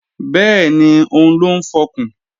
Bẹ́ẹ̀ni, òun ló ń fọkùn